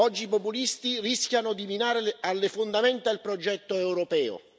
Oggi i populisti rischiano di minare alle fondamenta il progetto europeo.